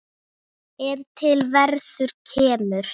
er til verðar kemur